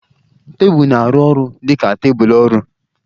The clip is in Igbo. Tebụl na-arụ ọrụ dị ka tebụl ọrụ.